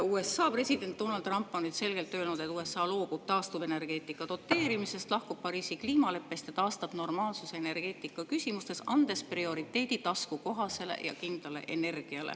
USA president Donald Trump on nüüd ikkagi selgelt öelnud, et USA loobub taastuvenergeetika doteerimisest, lahkub Pariisi kliimaleppest ja taastab normaalsuse energeetikaküsimustes, prioriteediks taskukohase ja kindla energia.